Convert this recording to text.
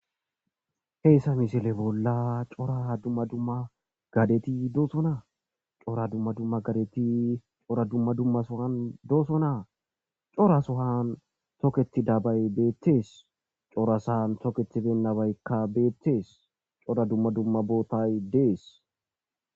heessa misile bolla cora dumma dumma gadeti doosona cora dumma dumma gadeti cora dumma dumma sohan doosonaa cora sohan toketi dabay beettees cora san toketi bennabaykka beettees cora dumma dumma bootay dees